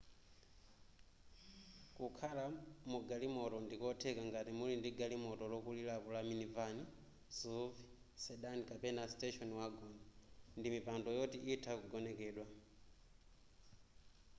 kukhala mugalimoto ndikotheka ngati muli ndi galimoto lokulirapo la minivan suv sedan kapena station wagon ndi mipando yoti itha kugonekedwa